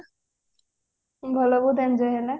ଭଲ ବହୁତ enjoy ହେଲା